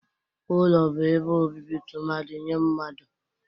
Ụlọ bụ ebe obibi tụmadị nye mmadụ.